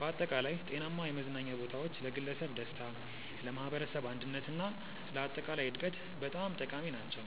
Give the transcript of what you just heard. በአጠቃላይ ጤናማ የመዝናኛ ቦታዎች ለግለሰብ ደስታ፣ ለማኅበረሰብ አንድነት እና ለአጠቃላይ እድገት በጣም ጠቃሚ ናቸው።